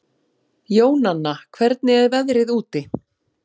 Jónanna, hvernig er veðrið úti?